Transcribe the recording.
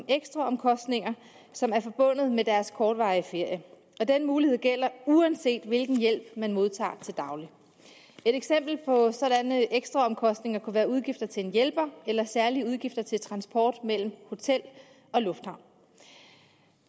ekstraomkostninger som er forbundet med deres kortvarige ferie og den mulighed gælder uanset hvilken hjælp man modtager til daglig et eksempel på sådanne ekstraomkostninger kunne være udgifter til en hjælper eller særlige udgifter til transport mellem hotel og lufthavn